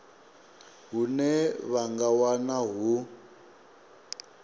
hune vha nga wana hu